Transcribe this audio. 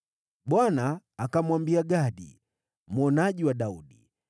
Bwana akamwambia Gadi, mwonaji wa Daudi,